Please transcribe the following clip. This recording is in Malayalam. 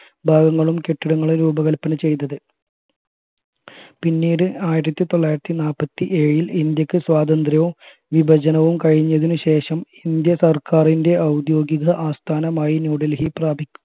ഭാഗങ്ങളും കെട്ടിടങ്ങളും രൂപകൽപ്പന ചെയ്തത് പിന്നീട് ആയിരത്തി തൊള്ളായിരത്തി നാല്പത്തിയേഴിൽ ഇന്ത്യക്ക് സ്വാതന്ത്ര്യവും വിഭജനവും കഴിഞ്ഞതിനുശേഷം ഇന്ത്യ സർക്കാറിന്റെ ഔദ്യോഗിക ആസ്ഥാനമായി ന്യൂഡൽഹി പ്രാപിക്കും